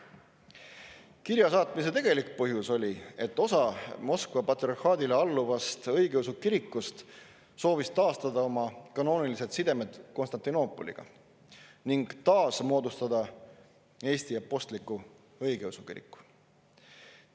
Kirja saatmise tegelik põhjus oli see, et osa Moskva patriarhaadile alluvast õigeusu kirikust soovis taastada oma kanoonilised sidemed Konstantinoopoliga ning taasmoodustada Eesti Apostlik-Õigeusu Kiriku.